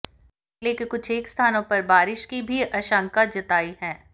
जिले के कुछेक स्थानों पर बारिश की भी आशंका जताई है